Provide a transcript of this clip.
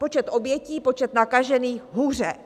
Počet obětí, počet nakažených: hůře.